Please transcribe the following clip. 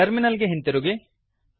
terminal ಗೆ ಹಿಂತಿರುಗಿ